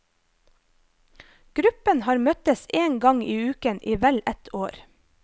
Gruppen har møttes en gang i uken i vel ett år.